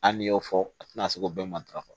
Hali n'i y'o fɔ a tɛna se k'o bɛɛ matarafa